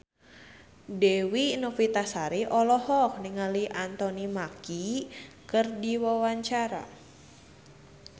Dewi Novitasari olohok ningali Anthony Mackie keur diwawancara